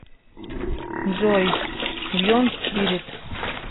джой бьенс спирит